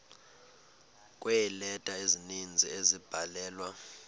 kweeleta ezininzi ezabhalelwa